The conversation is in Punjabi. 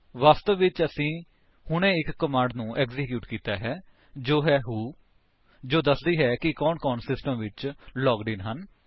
ਵਾਸਤਵ ਵਿੱਚ ਅਸੀਂ ਹੁਣੇ ਇੱਕ ਕਮਾਂਡ ਨੂੰ ਐਕਸੀਕਿਊਟ ਕੀਤਾ ਹੈ ਜੋ ਹੈ ਵ੍ਹੋ ਜੋ ਕਿ ਦੱਸਦੀ ਹੈ ਕਿ ਕੌਣ ਕੌਣ ਸਿਸਟਮ ਵਿੱਚ ਲਾਗਡ ਇੰਨ ਹਨ